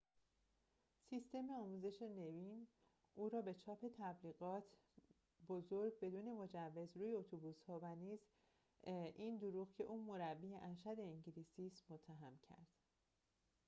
سیستم آموزش نوین او را به چاپ تبلیغات بزرگ بدون مجوز روی اتوبوس‌ها و نیز این دروغ که او مربی ارشد انگلیسی است متهم کرد